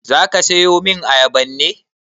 Zaka siyomin ayaban ne?